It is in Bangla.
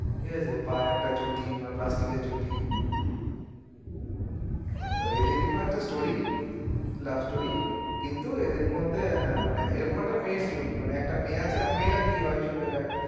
ঠিক আছে পায়ে একটা চটি প্লাস্টিকের চটি এইতো এদেরই মত story love story কিন্তু এদের মধ্যেও হ্যাঁ মানে এরকম একটা মেয়ের story মানে একটা মেয়ে আছে আর মেয়েটা কি হয় এসব জায়গায়